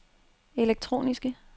elektroniske